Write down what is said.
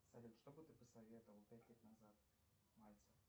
салют что бы ты посоветовал пять лет назад мальцев